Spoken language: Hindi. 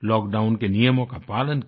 लॉकडाउन के नियमों का पालन किया